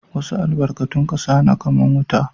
Wassu albarkatun kasa na kaman wuta.